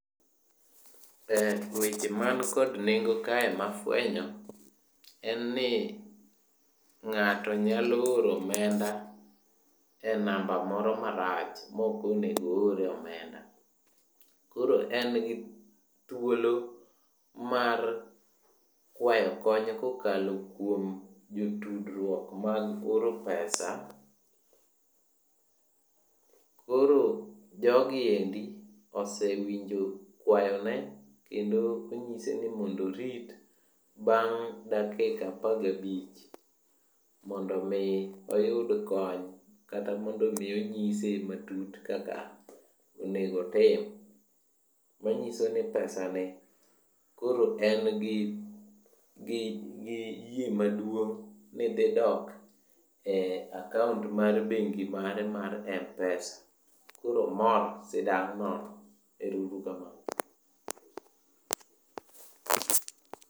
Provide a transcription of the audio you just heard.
E weche man kod nengo kae mafwenyo en ni ng'ato nyalo oro omenda e namba moro marach mokonego oore omenda. Koro en gi thuolo mar kwayo kony kokalo kuom jotudruok mar oro pesa. Koro jogiendi osewinjo kwayone kendo onyise ni mondorit bang' dakika apagabich. Mondo mi oyud kony kata mondomi onyise matut kaka onegotim. Manyisoni pesa ni koro en gi yie maduong' ni dhi dok e akaont mar bengi mare mar M-pesa. Koro omor sidang' nono. Ero uru kamano.